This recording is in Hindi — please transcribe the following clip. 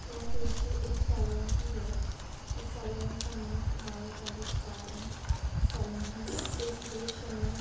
यह दृश्य एक सलोन की है इस सलोन का नाम Baal Dadhi spa and salon है | इस दृश्य में --